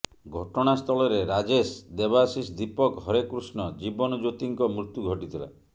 ଘଟଣାସ୍ଥଳରେ ରାଜେଶ ଦେବାଶିଷ ଦୀପକ ହରେକୃଷ୍ଣ ଜୀବନଜ୍ୟୋତିଙ୍କ ମୃତ୍ୟୁ ଘଟିଥିଲା